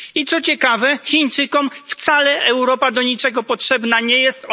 I co ciekawe, Chińczykom wcale Europa do niczego potrzebna nie jest.